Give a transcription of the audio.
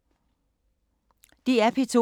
DR P2